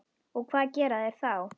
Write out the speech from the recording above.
Og hvað gera þeir þá?